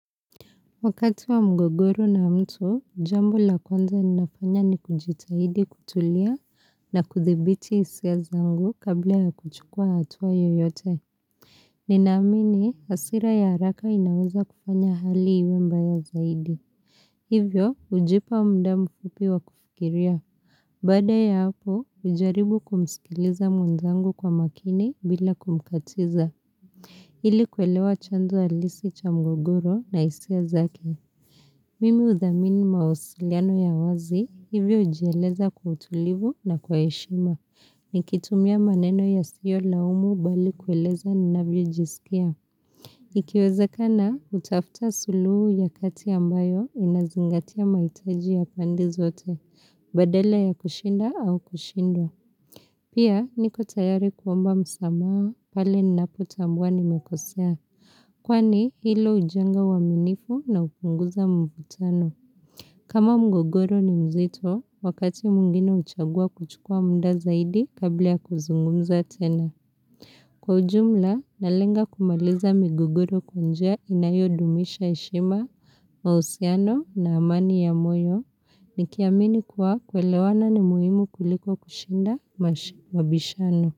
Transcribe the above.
Wakati wa mgogoro na mtu, jambo la kwanza ninafanya ni kujitahidi kutulia na kuthibiti hisia zangu kabla ya kuchukua hatua yoyote. Ninaamini, hasira ya haraka inaweza kufanya hali iwe mbaya zaidi. Hivyo, hujipa mda mfupi wa kufikiria. Bada ya hapo, hujaribu kumsikiliza mwenzangu kwa makini bila kumkatiza. Ili kuelewa chanzo halisi cha mgogoro na hisia zake. Mimi udhamini maosiliano ya wazi, hivyo hujieleza kwa utulivu na kwa heshima. Nikitumia maneno yasiyolaumu bali kueleza ninavyojisikia. Ikiwezakana, kutafuta suluhu ya kati ambayo inazingatia mahitaji ya pande zote, badala ya kushinda au kushindwa. Pia, niko tayari kuomba msamaha pale ninapotambua nmekosea. Kwani, hilo hujenga uaminifu na hupunguza mvutano. Kama mgogoro ni mzito, wakati mwingine huchagua kuchukua mda zaidi kabla ya kuzungumza tena. Kwa ujumla, nalenga kumaliza mgogoro kwa njia inayodumisha heshima, mahusiano na amani ya moyo, nikiamini kuwa kuelewana ni muhimu kuliko kushinda mabishano.